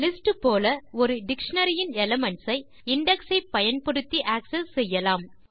lists போல ஒரு dictionary இன் எலிமென்ட்ஸ் ஐ இண்டெக்ஸ் ஐ பயன்படுத்தி ஆக்செஸ் செய்யலாம்